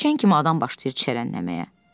İçən kimi adam başlayır içərilənməyə.